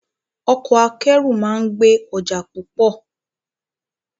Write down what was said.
Ọkọ akẹ́rù máa ń gbé ọjà púpọ̀